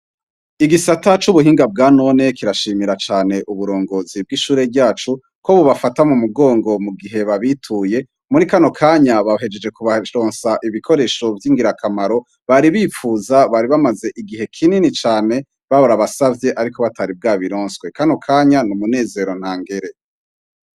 Igisata c'ubuhinga bwa none kirashimira cane uburongozi bw'ishure ryacu ko bobafata mu mugongo mu gihe babituye muri kano kanya bahejeje kubaronsa ibikoresho by'ingirakamaro bari bipfuza bari bamaze igihe kinini cane barabasavye ariko batari bwabironswe kano kanya n umunezero nta ngere.